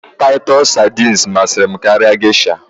Taịtọs sardines masịrị m geisha